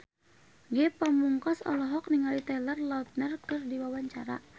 Ge Pamungkas olohok ningali Taylor Lautner keur diwawancara